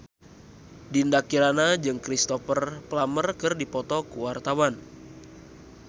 Dinda Kirana jeung Cristhoper Plumer keur dipoto ku wartawan